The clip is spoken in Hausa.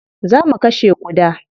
Zo mu kashe ƙuda.